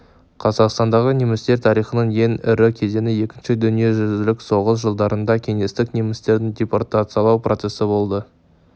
қазақстандағы немістер тарихының ең ірі кезеңі екінші дүниежүзілік соғыс жылдарында кеңестік немістердің депортациялау процесі болды